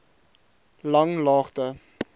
langlaagte